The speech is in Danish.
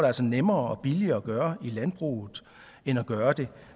altså nemmere og billigere at gøre i landbruget end at gøre det